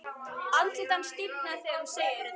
Andlit hans stífnar þegar hún segir þetta.